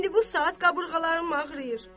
İndi bu saat qabırğalarım ağrıyır.